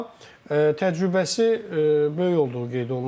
Amma təcrübəsi böyük olduğu qeyd olunur.